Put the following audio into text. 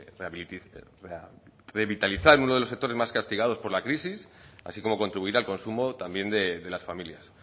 revitalizar uno de los sectores más castigados por la crisis así como contribuir al consumo también de las familias